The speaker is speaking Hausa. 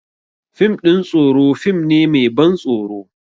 Fim ɗin tsoro fim ne mai ban tsoro